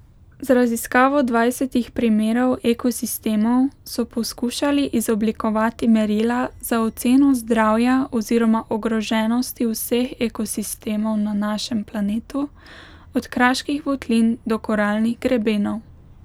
Z raziskavo dvajsetih primerov ekosistemov so poskušali izoblikovati merila za oceno zdravja oziroma ogroženosti vseh ekosistemov na našem planetu, od kraških votlin do koralnih grebenov.